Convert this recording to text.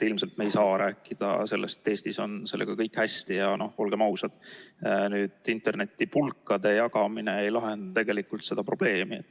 Ilmselt me ei saa rääkida, et Eestis on sellega kõik hästi, ja olgem ausad, internetipulkade jagamine ei lahenda tegelikult probleemi.